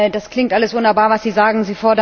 Das klingt alles wunderbar, was Sie sagen.